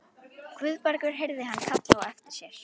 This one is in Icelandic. Guðbergur heyrði hann kallað á eftir sér.